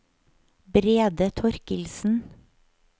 Brede Torkildsen